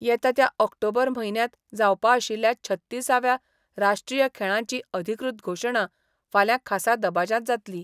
येता त्या ऑक्टोबर म्हयन्यांत जावपा आशिल्ल्या छत्तिसाव्या राष्ट्रीय खेळांची अधिकृत घोशणा फाल्यां खासा दबाज्यांत जातली.